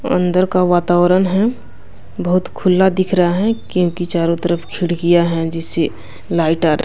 अंदर का वातावरण है बहुत खुला दिख रहा है क्योंकि चारों तरफ खिड़कियाँ हैं जिससे लाइट आ र --